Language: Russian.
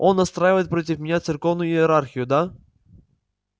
он настраивает против меня церковную иерархию да